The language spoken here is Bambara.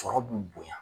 Sɔrɔ b'u bonya